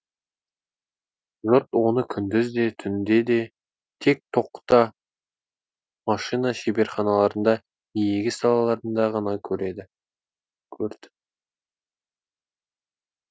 жұрт оны күндіз де түнде те тек токта машина шеберханаларында не егіс далаларында ғана көреді көрді